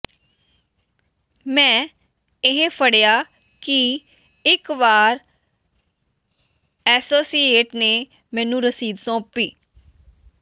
ਮੈਂ ਇਹ ਫੜਿਆ ਕਿ ਇਕ ਵਾਰ ਐਸੋਸੀਏਟ ਨੇ ਮੈਨੂੰ ਰਸੀਦ ਸੌਂਪੀ